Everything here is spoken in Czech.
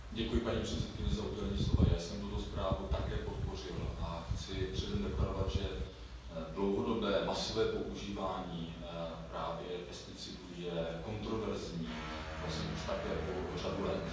Paní předsedající, já jsem tuto zprávu také podpořil a chci předem deklarovat, že dlouhodobé, masové používání právě pesticidů je kontroverzní vlastně už také řadu let.